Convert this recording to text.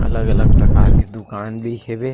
अलग-अलग प्रकार के दुकान भी हेवे--